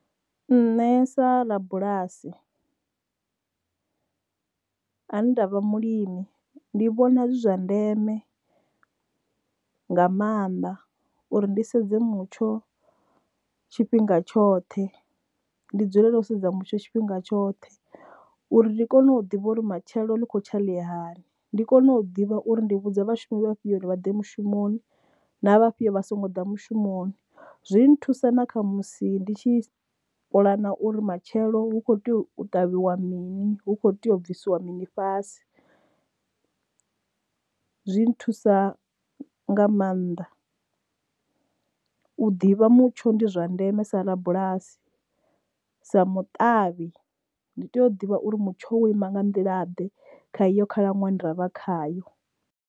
Nṋe sa rabulasi ane ndavha mulimi ndi vhona zwi zwa ndeme nga maanḓa uri ndi sedze mutsho tshifhinga tshoṱhe ndi dzulele u sedza mutsho tshifhinga tshoṱhe uri ndi kone u ḓivha uri matshelo ḽi kho tsha ḽi hani ndi kone u ḓivha uri ndi vhudza vhashumi vhafhiyo uri vha ḓe mushumoni na vhafhiyo vha songo ḓa mushumoni. Zwi thusa na kha musi ndi tshi puḽana uri matshelo hu kho ṱavhiwa mini hu kho tea u bvisiwa mini fhasi zwi nthusa nga maanḓa u ḓivha mutsho ndi zwa ndeme sa rabulasi sa matavhi ndi tea u ḓivha uri mutsho wo ima nga nḓila ḓe kha iyo khalaṅwaha ine ravha khayo.